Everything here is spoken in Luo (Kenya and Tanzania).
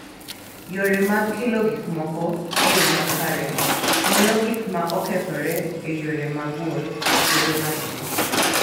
Yore mag kelo gik moko e yo makare, miyo gik ma okethore e yore mag wuoth bedo matin.